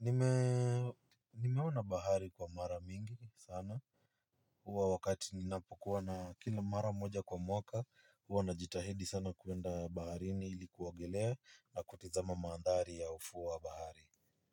nimeona bahari kwa mara mingi sana. Huwa wakati ninapokuwa na kila mara moja kwa mwaka huwa najitahidi sana kuenda baharini kuogolea na kutazama mandhari ya ufuo wa bahari.